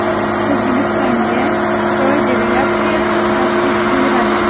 O‘zbekistonga Xitoy delegatsiyasi tashrif buyuradi.